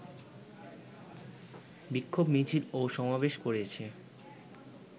বিক্ষোভ মিছিল ও সমাবেশ করেছে